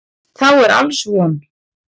Þá er alls von.